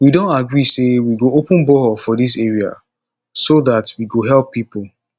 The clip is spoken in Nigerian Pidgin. we don agree say we go open borehole for dis area so dat we go help people